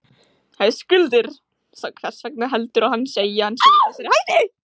Höskuldur: Svo, hvers vegna heldurðu að hann segi að hann sé í þessari hættu?